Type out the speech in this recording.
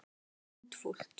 Það er hundfúlt.